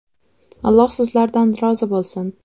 Alloh sizlardan rozi bo‘lsin.